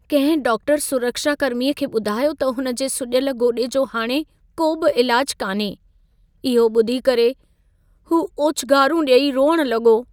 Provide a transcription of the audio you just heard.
कंहिं डाक्टर सुरक्षाकर्मी खे ॿुधायो त हुन जे सुॼल गोॾे जो हाणे को बि इलाज कान्हे। इहो ॿुधी करे हू ओछंगारूं डे॒ई रोइणु लॻो।